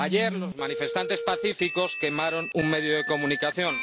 Ayer, los manifestantes pacíficos quemaron un medio de comunicación